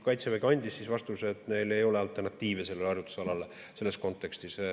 Kaitsevägi andis vastuse, et neil ei ole alternatiive sellele harjutusalale selles kontekstis.